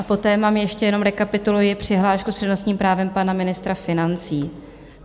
A poté mám ještě, jenom rekapituluji, přihlášku s přednostním právem pana ministra financí.